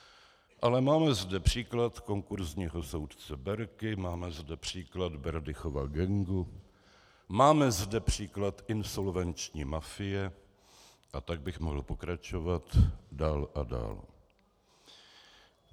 Ale máme zde příklad konkurzního soudce Berky, máme zde příklad Berdychova gangu, máme zde příklad insolvenční mafie a tak bych mohl pokračovat dál a dál.